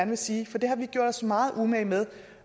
vil sige for det har vi gjort os meget umage med